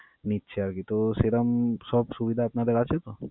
নিচ্ছে আর কি তো সেরাম সব সুবিধা আপনাদের আছে তো?